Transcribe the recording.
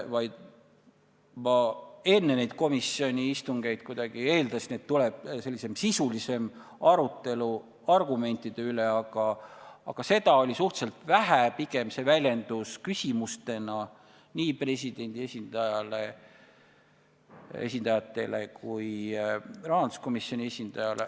Ma enne neid komisjoni istungeid kuidagi eeldasin, et tuleb selline sisulisem arutelu argumentide üle, aga seda oli suhteliselt vähe, pigem väljendus see küsimustena nii presidendi esindajatele kui ka rahanduskomisjoni esindajale.